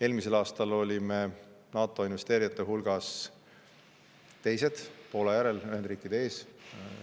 Eelmisel aastal olime NATO investeerijate hulgas teised, Poola järel, Ühendriikide ees.